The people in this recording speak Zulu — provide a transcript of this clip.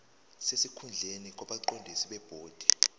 sesikhundleni kwabaqondisi bebhodi